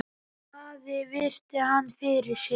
Daði virti hann fyrir sér.